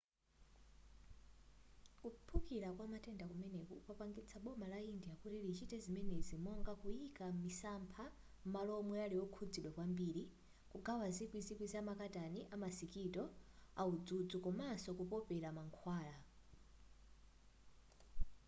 kuphulika kwa matenda kumeneku kwapangitsa boma la india kuti lichite zimenezi monga kuyika misampha m'malo omwe ali okhuzidwa kwambiri kugawa zikwi zikwi za makatani amasikito audzudzu komaso kupopera mankhwala